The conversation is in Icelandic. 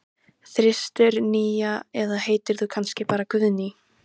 þristur, nía eða heitir þú kannski bara Guðný?